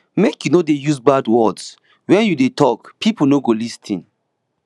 make you no dey use bad words wen you dey tok pipo no go lis ten